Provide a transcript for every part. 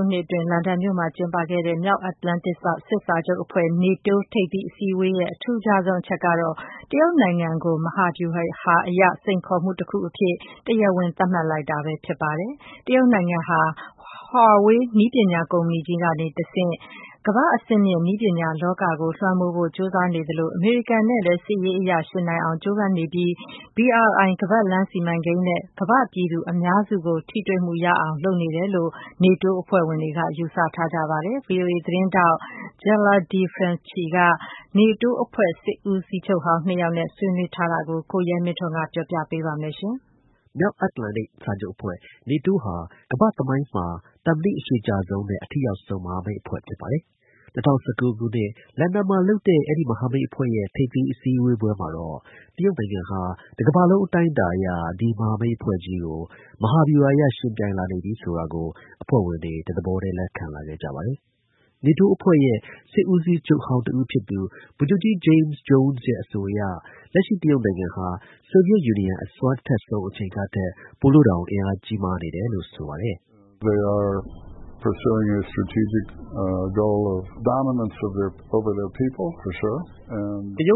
ုနှစ်အတွင်း လန်ဒန်မြို့မှာကျင်းပခဲ့တဲ့ မြောက်အတ္တလန်တိတ်စာချုပ်အဖွဲ့ (NATO) ထိပ်သီးအစည်းအဝေးရဲ့ အထူးခြားဆုံးအချက်ကတော့ တရုတ်နိုင်ငံကို မဟာဗျူဟာ စိန်ခေါ်မှုတခုအဖြစ် တရားဝင် သတ်မှတ်လိုက်ပါတယ်။ တရုတ်နိုင်ငံ ဟာ Huawei နည်းပညာကုမ္ပဏီကြီးကနေတဆင့် ကမ္ဘာ့အဆင့်မြင့်နည်းပညာ လောကကို လွှမ်းမိုးဖို့ ကြိုးစားနေသလို အမေရိကန်နဲ့လည်း စစ်ရေးအရယှဉ်နိုင်အောင် ကြိုးပမ်း နေပြီး BRI ခါးပတ်လမ်း စီမံကိန်းနဲ့ ကမ္ဘာ့ပြည်သူအများစုကို ထိတွေ့မှုရအောင် လုပ်နေတယ်လို့ နေတိုးအဖွဲ့ဝင်တွေက ယူဆထားကြပါတယ်။ ဗွီအိုအေ သတင်းထောက် Jela de Franceschi က နေတိုးအဖွဲ့ စစ်ဦးစီးချုပ်ဟောင်းနှစ်ယောက်နဲ့ ဆွေးနွေးထားတာကို ကိုရဲမင်းထွန်းက တင်ပြထားပါတယ်။ နေတိုးအဖွဲ့ဟာ ကမ္ဘာ့သမိုင်းမှာ သက်တမ်းအရှည်ကြာဆုံးနဲ့ အထိရောက်ဆုံး မဟာမိတ်အဖွဲ့ဖြစ်ပါတယ်။ ၂၀၁၉ ခုနှစ်အတွင်း လန်ဒန်မှာလုပ်တဲ့ အဲဒီမဟာမိတ်အဖွဲ့ရဲ့ ထိပ်သီးအစည်းအဝေးမှာတော့ တရုတ်နိုင်ငံဟာ တကမ္ဘာလုံးအတိုင်းအတာနဲ့ ဒီ မဟာမိတ်အဖွဲ့ကြီးကို မဟာဗျူဟာအရ ယှဉ်ပြိုင်လာနေပြီဆိုတာကို အဖွဲ့ဝင်တွေ တသဘောတည်း လက်ခံလာခဲ့ကြပါတယ်။ နေတိုးအဖွဲ့ရဲ့ စစ်ဦးစီးချုပ်ဟောင်းတစ်ဦးဖြစ်သူ ဗိုလ်ချုပ်ကြီးJames Jones က လက်ရှိ တရုတ်နိုင်ငံဟာ ဆိုဗီယက်ယူနီယံ အစွမ်း အထက်ဆုံး အချိန်ကထက်တောင် ပိုပြီး အင်အားကြီးနေပါတယ်လို့ ဆိုပါတယ်။ “တရုတ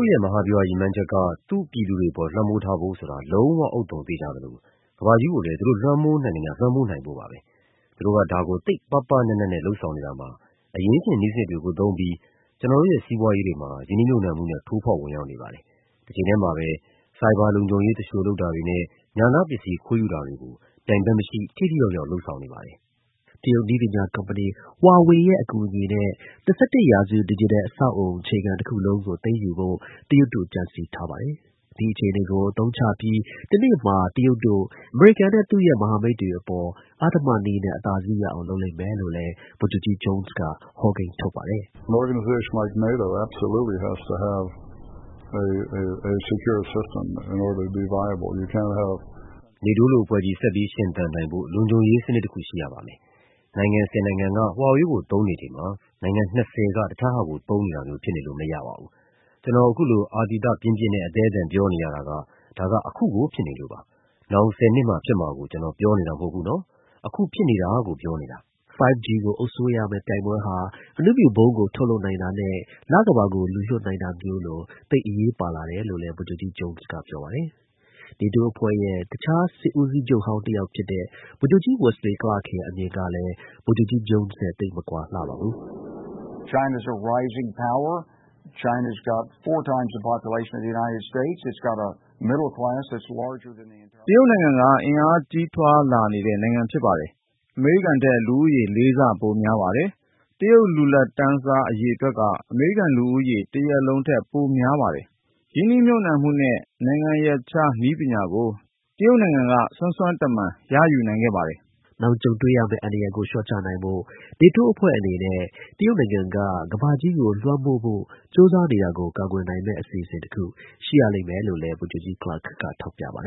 ်ရဲ့ မဟာဗျူဟာရည်မှန်းချက်က သူ့ပြည်သူတွေအပေါ် လွှမ်းမိုးထားဖို့ဆိုတာ လုံးဝဥဿုံ သေချာသလို ကမ္ဘာကြီးကိုလည်း သူတို့လွှမ်းမိုးနိုင်သမျှ လွှမ်းမိုးဖို့ပါပဲ။ သူတို့က ဒါကို သိပ်ပါးပါးနပ်နပ်နဲ့ လုပ်ဆောင်နေတာမှာ အရင်းရှင် နည်းစနစ်တွေကိုသုံးပြီး ကျနော်တို့ရဲ့ စီးပွားရေးတွေမှာ ရင်းနှီးမြှုပ်နှံမှုနဲ့ ထိုးဖောက်ဝင်ရောက်နေပါတယ်။ တချိန်တည်းမှာပဲ cyber လုံခြုံရေး သူလျှို လုပ်တာတွေနဲ့ ဉာဏပစ္စည်း ခိုးယူတာတွေကို ပြိုင်ဘက်မရှိ ထိထိရောက်ရောက် လုပ်ဆောင်နေပါတယ်။” Huawei ရဲ့အကူအညီနဲ့ ၂၁ ရာစုနှစ် ဒစ်ဂျစ်တယ်လ် အခြေခံအဆောက်အအုံတခုလုံးကို သိမ်းယူဖို့ တရုတ်နိုင်ငံက ကြံစည် ထားပါတယ်။ ဒီအနေအထားကို အသုံးချပြီး တနေ့မှာ တရုတ်တို့ အမေရိကန်နဲ့ သူ့ရဲ့မဟာမိတ်တွေအပေါ် အဓမ္မနည်းနဲ့ အသာစီး ရအောင် လုပ်လိမ့်မယ်လို့ လည်း ဗိုလ်ချုပ်ကြီး Jones က ဟောကိန်း ထုတ်ပါတယ်။ “နေတိုးလို အဖွဲ့ကြီး ဆက်ပြီးရှင်သန်နိုင်ဖို့ လုံခြုံရေးစနစ်တခု ရှိရပါမယ်။ နိုင်ငံ ၁၀ နိုင်ငံက Huawei ကို သုံးနေချိန်မှာ နိုင်ငံ ၂၀ က တခြားဟာကိုသုံးနေတာမျိုး ဖြစ်နေလို့မရပါဘူး။ ကျနော် အခုလို အာသီသပြင်းပြင်းနဲ့ အသည်းအသန် ပြောနေရတာက ဒါက အခုကို ဖြစ်နေလို့ပါ။ နောင် ၁၀ နှစ်မှာ ဖြစ်မှာကို ကျနော်ပြောနေတာ မဟုတ်ဘူးနော်။ အခု ဖြစ်နေတာကို ပြောနေတာ။” 5G ကို အုပ်စီးရမယ့်ပြိုင်ပွဲဟာ အဏုမြူဗုံးကို ထုတ်လုပ်နိုင်တာနဲ့ လကမ္ဘာကို လူလွှတ်နိုင်တာမျိုးလို သိပ် အရေးပါလာတယ်လို့ လည်း ဗိုလ်ချုပ်ကြီး Jones က ပြောပါတယ်။ နေတိုးအဖွဲ့ရဲ့ စစ်ဦးစီးချုပ်ဟောင်း နောက်တစ်ယောက်ဖြစ်တဲ့ ဗိုလ်ချုပ်ကြီး Wesley Clark ရဲ့အမြင်ကလည်း ဗိုလ်ချုပ်ကြီး Jones နဲ့ သိပ်မကွာလှပါဘူး။ “တရုတ်နိုင်ငံက အင်အားကြီးထွားလာနေတဲ့နိုင်ငံဖြစ်တယ်။ အမေရိကန်ထက် လူဦးရေ ၄ ဆ ပိုများတယ်။ တရုတ် လူလတ်တန်း စား အရေအတွက်က အမေရိကန်လူဦးရေ တရပ်လုံးထက် ပို များတယ်။ ရင်းနှီးမြှုပ်နှံမှုနဲ့ နိုင်ငံရပ်ခြားနည်းပညာကို တရုတ်တို့ စွမ်းစွမ်းတမံ ရယူနိုင်ခဲ့တယ်။” နောင်ကြုံတွေ့နိုင်မယ့် အန္တရာယ်ကို လျှော့ချနိုင်ဖို့ နေတိုးအဖွဲ့အနေနဲ့ တရုတ်နိုင်ငံ ကမ္ဘာကြီးကိုလွှမ်းမိုးဖို့ ကြိုးစားနေတာကို ကာကွယ်နိုင်မယ့် အစီအစဉ်တခု ရှိရလိမ့်မယ်လို့လည်း ဗိုလ်ချုပ်ကြီး Clark က ထောက်ပြပါတယ်။ “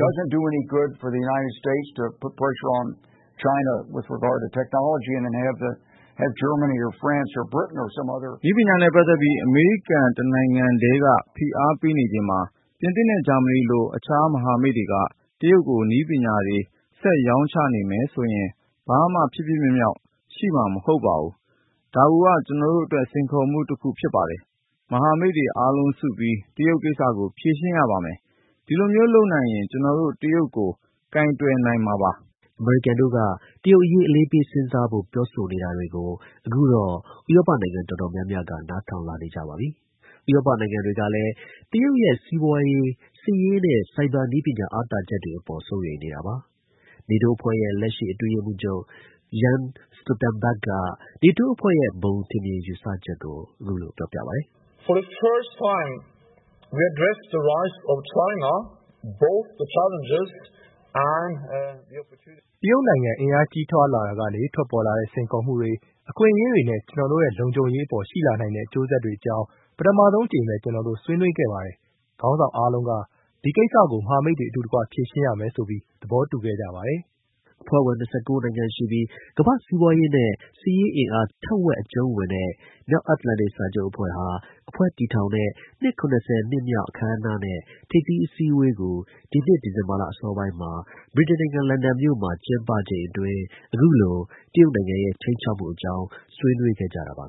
နည်းပညာနဲ့ပတ်သက်ပြီး အမေရိကန် တနိုင်ငံတည်းက ဖိအားပေးနေချိန်မှာ ပြင်သစ်နဲ့ဂျာမနီလို တခြားမဟာမိတ်တွေက တရုတ်ကို နည်းပညာတွေ ဆက်ရောင်းချနေမယ်ဆိုရင် ဘာမှ ဖြစ်ဖြစ်မြောက်မြောက်ရှိမှာ မဟုတ်ဘူး။ ဒါကိုက ကျနော်တို့ အတွက် စိန်ခေါ်မှုတခုဖြစ်ပါတယ်။ မဟာမိတ်တွေအားလုံးစုပြီး တရုတ်ကိစ္စကို ဖြေရှင်းရပါမယ်။ ဒီလိုမျိုးလုပ်နိုင်ရင် ကျနော်တို့ တရုတ်ကို ကိုင်တွယ်နိုင်ပြီပဲ။” အမေရိကန်တို့က တရုတ်အရေး အလေးပေးစဉ်းစားဖို့ ပြောနေတာတွေကို အခုတော့ ဥရောပနိုင်ငံ တော်တော်များများ နားထောင်လာကြပါပြီ။ ဥရောပကလည်း တရုတ်ရဲ့ စီးပွားရေး၊ စစ်ရေးနဲ့ cyber နည်းပညာ အားသာချက်အပေါ် စိုးရိမ်နေတာပါ။ နေတိုးအဖွဲ့ရဲ့ လက်ရှိအတွင်းရေးမှူးချုပ် Jens Stoltenberg က နေတိုးအဖွဲ့ရဲ့ ဘုံ ထင်မြင်ယူဆချက်ကို ပြောပြပါတယ်။ “တရုတ်နိုင်ငံ အင်အားကြီးထွားလာတာကနေ ထွက်ပေါ်လာတဲ့ စိန်ခေါ်မှုတွေ၊ အခွင့်အရေးတွေနဲ့ ကျနော်တို့ရဲ့ လုံခြုံရေးအပေါ် ရှိလာနိုင်တဲ့ အကျိုးဆက်တွေအကြောင်း ပထမဆုံးအကြိမ် ကျနော်တို့ ဆွေးနွေးခဲ့ပါတယ်။ ခေါင်းဆောင်အားလုံးက ဒီကိစ္စကို မဟာမိတ်တွေ အတူတကွ ဖြေရှင်းရမယ်ဆိုပြီး သဘောတူခဲ့ကြပါတယ်။” အဖွဲ့ဝင် ၂၉ နိုင်ငံရှိပြီး ကမ္ဘာ့ စီးပွားရေးနဲ့စစ်ရေးအင်အား ထက်ဝက် အကျုံးဝင်တဲ့ မြောက်အတ္တလန်တိတ်စာချုပ်အဖွဲ့ဟာ အဖွဲ့ တည်ထောင်တဲ့ နှစ် ၇၀ မြောက်အခမ်းအနားနဲ့ ထိပ်သီးအစည်းအဝေးကို ဒီနှစ် ဒီဇင်ဘာလအစောပိုင်းမှာ ဗြိတိန်နိုင်ငံ၊ လန်ဒန်မြို့ မှာ ကျင်းပချိန်အတွင်း အခုလို တရုတ်နိုင်ငံရဲ့ ခြိမ်းခြောက်မှုအကြောင်း ဆွေးနွေးခဲ့ကြတာဖြစ်ပါ